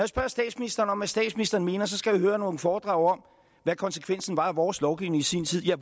spørger statsministeren om hvad statsministeren mener skal jeg høre nogle foredrag om hvad konsekvensen var af vores lovgivning i sin tid ja